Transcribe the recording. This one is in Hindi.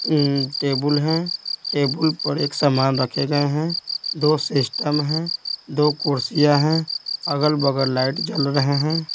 अ टेबल है टेबल पर एक सामान रखे गये हैं दो सिस्टम हैं दो कुर्सियां हैं अगल-बगल लाइट जल रहे हैं।